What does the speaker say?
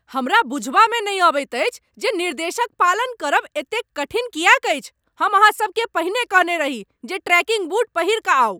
हमरा बुझबामे नहि अबैत अछि जे निर्देश क पालन करब एतेक कठिन किएक अछि। हम अहाँ सभकेँ पहिने कहने रही जे ट्रेकिंग बूट पहिरि कऽ आउ।